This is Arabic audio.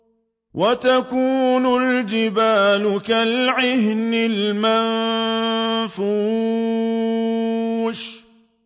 وَتَكُونُ الْجِبَالُ كَالْعِهْنِ الْمَنفُوشِ